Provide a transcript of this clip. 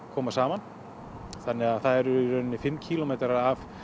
koma saman þannig að það eru í rauninni fimm kílómetra af